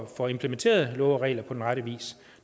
får implementeret love og regler på rette vis